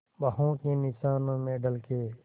बाहों के निशानों में ढल के